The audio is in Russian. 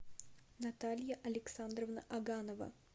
наталья александровна аганова